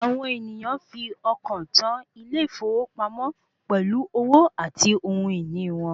Àwọn ènìyàn fi ọkàn tó ilé ìfowópamọ́ pẹ̀lú owó àti ohun ìní wọn.